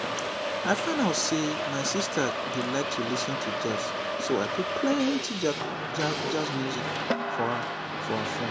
i find out say my sister dey like lis ten to jazz so i put plenty jazz music for her for her phone